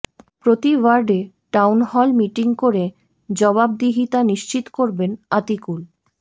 প্রতি ওয়ার্ডে town hall meeting করে জবাবদিহিতা নিশ্চিত করবেন আতিকুল